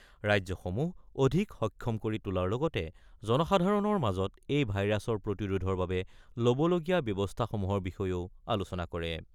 ৰাজ্যসমূহ অধিক সক্ষম কৰি তোলাৰ লগতে জনসাধাৰণৰ মাজত এই ভাইৰাছৰ প্ৰতিৰোধৰ বাবে ল'বলগীয়া ব্যৱস্থাসমূহৰ বিষয়েও আলোচনা কৰে।